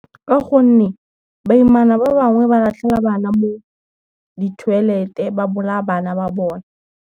Ka gonne, baimana ba bangwe ba latlhela bana mo di-toilet-e, ba bolaya bana ba bone.